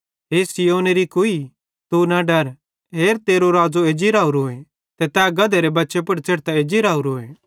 हे सिय्योनेरी कुई यरूशलेमेरे लोक तू न डर हेर तेरो राज़ो एज्जी राओरोए ते तै गधेरे बच्चे पुड़ च़ेढ़तां एज्जी राओरोए